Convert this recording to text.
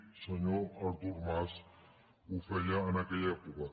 el senyor artur mas ho feia en aquella època